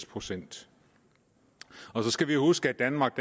procent og så skal vi jo huske at danmark